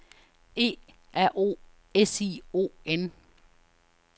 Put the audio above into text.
E R O S I O N